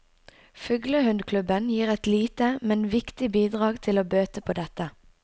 Fuglehundklubben gir et lite, men viktig bidrag til å bøte på dette.